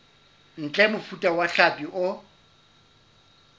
ntle mofuta wa hlapi o